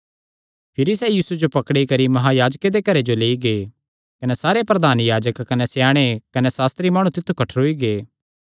भिरी सैह़ यीशुये जो पकड़ी करी महायाजके दे घरे जो लेई गै कने सारे प्रधान याजक कने स्याणे कने सास्त्री माणु तित्थु कठ्ठरोई गै